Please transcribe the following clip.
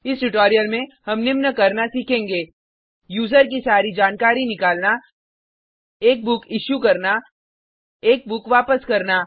इस ट्यूटोरियल में हम निम्न करना सीखेंगे यूज़र की सारी जानकारी निकालना एक बुक इशू करना एक बुक रिटर्न करना